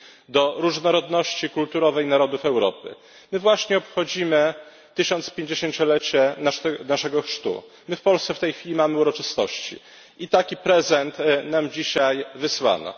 do różnorodności kulturowej narodów Europy. My właśnie obchodzimy 1050 lecie naszego chrztu, my w Polsce w tej chwili mamy uroczystości i taki prezent nam dzisiaj wysłano.